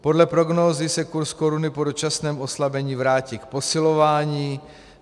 Podle prognózy se kurz koruny po dočasném oslabení vrátí k posilování.